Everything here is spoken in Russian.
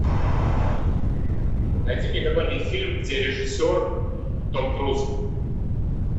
найди мне какой нибудь фильм где режиссер том круз